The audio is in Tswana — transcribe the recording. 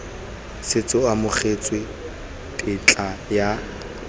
setse go amogetswe tetla ya